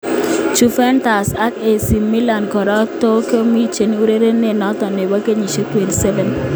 (ESPN, via Sport) Juventus ak AC Milan kora tunkoborchinke urerenindet noto nebo kenyisiek 27.